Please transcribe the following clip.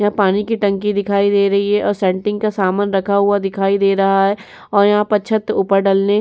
यहां पानी की टंकी दिखाई दे रही है और संटिंग का सामन रखा हुआ दिखाई दे रहा है और यहां पर छत पर ऊपर डलने --